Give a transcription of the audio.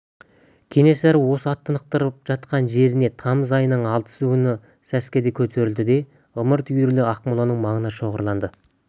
кенесары осы ат тынықтырып жатқан жерінен тамыз айының алтысы күні сәскеде көтерілді де ымырт үйіріле ақмоланың маңына шоғырланды